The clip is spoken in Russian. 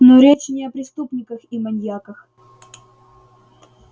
но речь не о преступниках и маньяках